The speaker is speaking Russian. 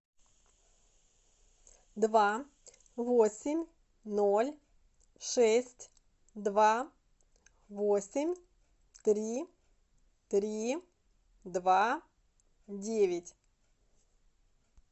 два восемь ноль шесть два восемь три три два девять